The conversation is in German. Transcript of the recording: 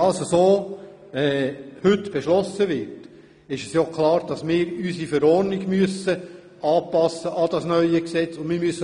Sollte es heute zum entsprechenden Beschluss kommen, ist klar, dass wir unsere Verordnung und auch die Wegleitung an das neue Gesetz anpassen müssen.